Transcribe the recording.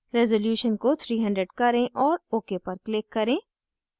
resolution को 300 करें और ok पर click करें